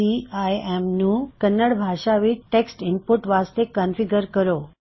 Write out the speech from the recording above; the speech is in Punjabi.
ਸੀਆਈਐੱਮ ਨੂੰ ਕੰਨੜ ਭਾਸ਼ਾ ਵਿੱਚ ਟੈੱਕਸਟ ਇਨਪੁਟ ਵਾਸਤੇ ਕਨ੍ਫਿਗ੍ਰਰ ਕਰੋ